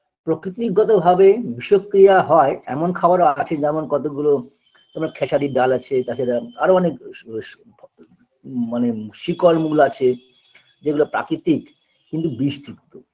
প্রকৃতিগতভাবে বিষক্রিয়া হয় এমন খাবারও আছে যেমন কতগুলো যেমন খেসারির ডাল আছে তাছাড়া আরও অনেক স স ভ ম মানে শিকড় মূল আছে যেগুলো প্রাকৃতিক কিন্তু বিষযুক্ত